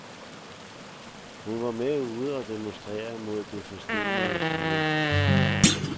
Men hun var med ude og demonstrere mod det forstenede styre.